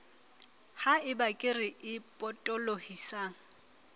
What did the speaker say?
ha eba kere e potolohisang